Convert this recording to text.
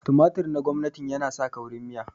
tumatur na gwamnatin yana sa kaurin miya